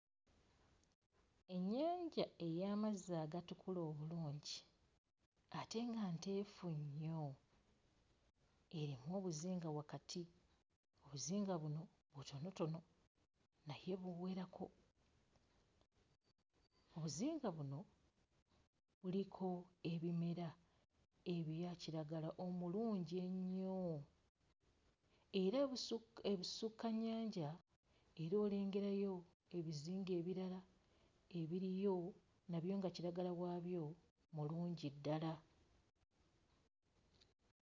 Ennyanja ey'amazzi agatukula obulungi ate nga nteefu nnyo erimu obuzinga wakati, obuzinga buno butonotono naye buwerako. Obuzinga buno buliko ebimera ebya kiragala omulungi ennyo era ebusu... ebusukkannyanja era olengerayo ebizinga ebirala ebiriyo, nabyo nga kiragala waabyo mulungi ddala.